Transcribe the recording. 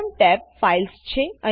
પ્રથમ ટેબ Filesછે